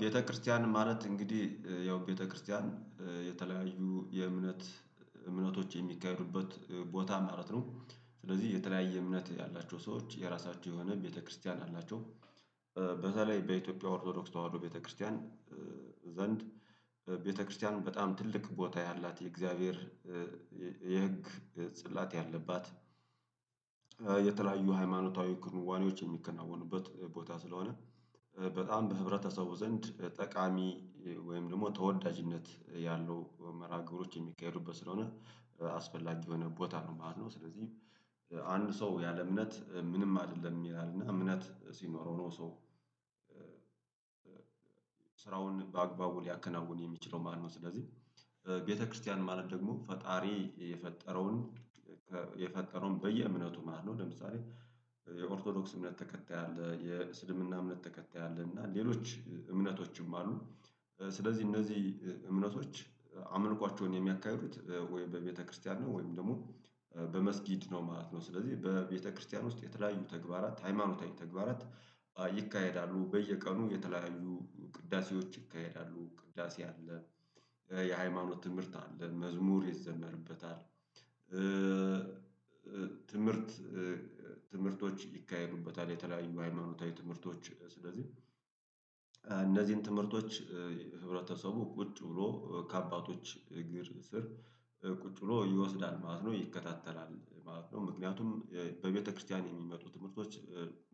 ቤተክርስቲያን ማለት እንግዲህ ያው ቤተክርስቲያን የተለያዩ የእምነት እምነቶች የሚካሄዱበት ቦታ ማለት ነው ስለዚህ የተለያየ እምነት ያላቸው ሰዎች የራሳቸው የሆነ ቤተክርስቲያን አላቸው። በተለይ በኢትዮጵያ ኦርቶዶክስ ተዋህዶ ቤተክርስቲያን ዘንድ ቤተክርስቲያኑ በጣም ትልቅ ቦታ ያላት የእግዚአብሔር የህግ ጽላት ያለባት የተለያዩ ሃይማኖታዊ ክንዋኔዎች የሚከናወኑበት ቦታ ስለሆነ። በጣም በህብረተሰቡ ዘንድ ጠቃሚ ወይም ደግሞ ተወዳጅነት ያለው መርሃ ግብሮች የሚካሄዱበት ስለሆነ አስፈላጊ የሆነ ቦታ ነው ማለት ነው። ስለዚህ አንድ ሰው ያለ እምነት ምንም አይደለም ይላል እና እምነት ሲኖረው ነው ሰው ስራውን በአግባቡ ሊያከናውን የሚችለው ማለት ነው። ስለዚህ ቤተክርስቲያን ማለት ደግሞ ፈጣሪ የፈጠረውን የፈጠረውን በየእምነቱ ማለት ነው። ለምሳሌ የኦርቶዶክስ እምነት ተከታይ አለ የእስልምና እምነት ተከታይ አለ እና ሌሎች እምነቶችም አሉ። ስለዚህ እነዚህ እምነቶች አምልኳቸውን የሚያካሂዱት ወይም በቤተክርስቲያን ነው ወይም ደግሞ በመስጊድ ነው ማለት ነው። ስለዚህ በቤተክርስቲያን ውስጥ የተለያዩ ተግባራት ሃይማኖታዊ ተግባራት ይካሄዳሉ በየቀኑ የተለያዩ ቅዳሴዎች ይካሄዳሉ ቅዳሴ አለ። የሃይማኖት ትምህርት አለ መዝሙር ይዘመርበታል። ትምህርት ትምህርቶች ይካሄዱበታል የተለያዩ ሃይማኖታዊ ትምህርቶች ስለዚህ እነዚህን ትምህርቶች ህብረተሰቡ ቁጭ ብሎ ከአባቶች እግር ስር ቁጭ ብሎ ይወስዳል ማለት ነው ይከታተላል ማለት ነው። ምክንያቱም በቤተክርስቲያን የሚመጡ ትምህርቶች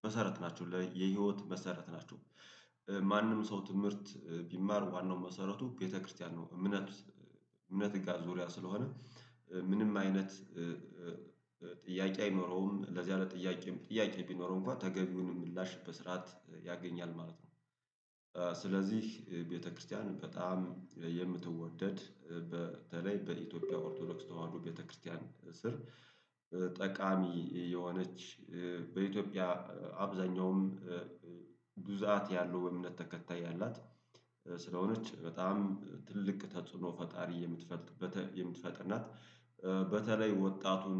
መሰረት ናቸው የህይወት መሰረት ናቸው። ማንም ሰው ትምህርት ቢማር ዋናው መሰረቱ ቤተክርስቲያን ነው። እምነት እምነት ጋር ዙሪያ ስለሆነ ምንም አይነት ጥያቄ አይኖረውም ለዚያ ለጥያቄም ጥያቄ ቢኖረው እንኳን ተገቢውን ምላሽ በስርዓት ያገኛል ማለት ነው። ስለዚህ ቤተክርስቲያን በጣም የምትወደድ በተለይ በኢትዮጵያ ኦርቶዶክስ ተዋህዶ ቤተክርስቲያን ስር ጠቃሚ የሆነች በኢትዮጵያ አብዛኛውም ብዛት ያለው የእምነት ተከታይ ያላት ስለሆነች በጣም ትልቅ ተጽዕኖ ፈጣሪ የምትፈጥርበት የምትፈጥር ናት። በተለይ ወጣቱን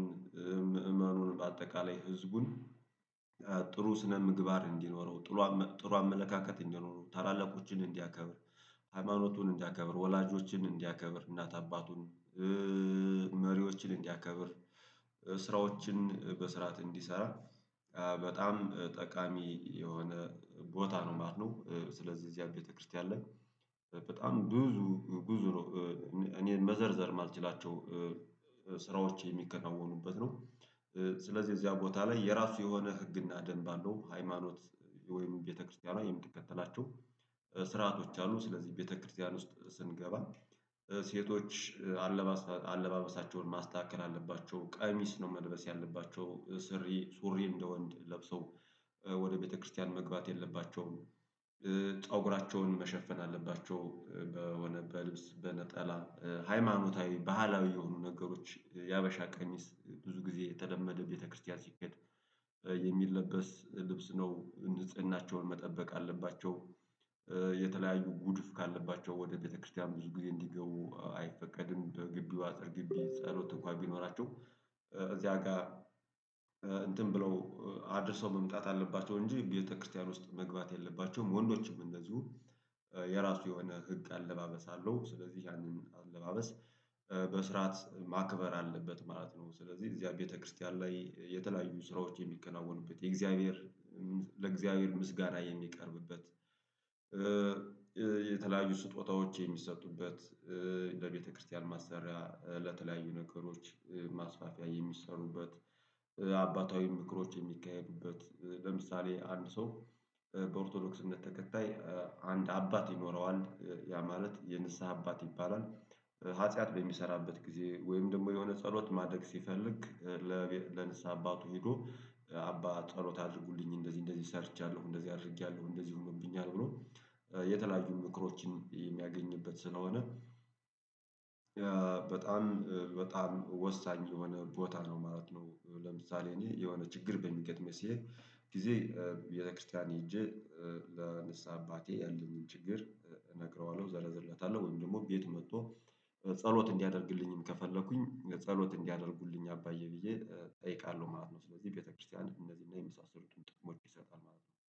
ምእመኑን በአጠቃላይ ህዝቡን ጥሩ ስነ ምግባር እንዲኖረው ጥሩ አመለካከት እንዲኖረው ታላላቆችን እንዲያከብር ሃይማኖቱን እንዲያከብር ወላጆችን እንዲያከብር እናት አባቱን መሪዎችን እንዲያከብር ስራዎችን በስርዓት እንዲሰራ በጣም ጠቃሚ የሆነ ቦታ ነው ማለት ነው። ስለዚህ እዚያ ቤተክርስቲያን ላይ በጣም ብዙ ብዙ እኔ መዘርዘር የማልችላቸው ስራዎች የሚከናወኑበት ነው። ስለዚህ እዚያ ቦታ ላይ የራሱ የሆነ ህግና ደንብ አለው ሃይማኖት ወይም ቤተክርስቲያኗ የምትከተላቸው ስርዓቶች አሉ። ስለዚህ ቤተክርስቲያን ውስጥ ስንገባ ሴቶች አለባበሳቸውን ማስተካከል አለባቸው ቀሚስ ነው መልበስ ያለባቸው ሱሪ ሱሪ እንደ ወንድ ለብሶ ወደ ቤተክርስቲያን መግባት የለባቸውም። ፀጉራቸውን መሸፈን አለባቸው በሆነ በልብስ በነጠላ ሃይማኖታዊ ባህላዊ የሆኑ ነገሮች የሀበሻ ቀሚስ ብዙ ጊዜ የተለመደው ቤተክርስቲያን ሲኬድ የሚለበስ ልብስ ነው ንጽህናቸውን መጠበቅ አለባቸው። የተለያዩ ጉድፍ ካለባቸው ወደ ቤተክርስቲያን ብዙ ጊዜ እንዲገቡ አይፈቀድም በግቢው አጥር ጊቢ ጸሎት እንኳን ቢኖራቸው እዚያ ጋር እንትን ብለው አድርሰው መምጣት አለባቸው እንጂ ቤተክርስቲያን ውስጥ መግባት የለባቸውም። ወንዶችም እንደዚሁ የራሱ የሆነ ህግ አለባበስ አለው ስለዚህ ያንን አለባበስ በስርዓት ማክበር አለበት ማለት ነው። ስለዚህ እዚያ ቤተክርስቲያን ላይ የተለያዩ ስራዎች የሚከናውኑበት የእግዚአብሔር ለእግዚአብሔር ምስጋና የሚቀርብበት። የተለያዩ ስጦታዎች የሚሰጡበት ለቤተክርስትያን ማሰሪያ ለተለያዩ ነገሮች ማስፋፊያ የሚሰሩበት። አባታዊ ምክሮች የሚካሄዱበት ለምሳሌ አንድ ሰው በኦርቶዶክስ እምነት ተከታይ አንድ አባት ይኖረዋል ያ ማለት የንስሃ አባት ይባላል። ሀጥያት በሚሰራበት ጊዜ ወይም ደግሞ የሆነ ጸሎት ማድረግ ሲፈልግ ለንስሐ አባቱ ሄዶ አባ ጸሎት አድርጉልኝ እንደዚህ እንደዚህ ሰርቻለሁ እንደዚህ አድርጌያለሁ እንደዚህ ሆኖብኛል ብሎ የተለያዩ ምክሮችን የሚያገኝበት ስለሆነ። በጣም በጣም ወሳኝ የሆነ ቦታ ነው ማለት ነው። ለምሳሌ እኔ የሆነ ችግር በሚገጥመኝ ሲል ጊዜ ቤተክርስቲያን ሄጄ ለንስሃ አባቴ ያለኝን ችግር ነግረዋለሁ እዘረዝርለታለሁ ወይም ደግሞ ቤት መጥቶ ጸሎት እንዲያደርግልኝም ከፈለኩኝ ጸሎት እንዲያደርጉልኝ አባዬ ብዬ እጠይቃለሁ ማለት ነው። ስለዚህ ቤተክርስቲያን እነዚህን የመሳሰሉ ጥቅሞች ይሰጣል ማለት ነው